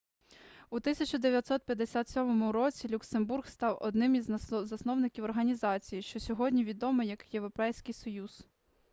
у 1957 році люксембург став одним із засновників організації що сьогодні відома як європейський союз